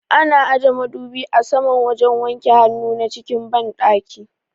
Ana aje madubi a saman wajen wanke hannuwa na cikin banɗaki